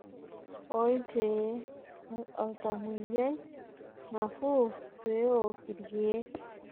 Onetee oltumwoyia nafuu pee ewok ilkeek.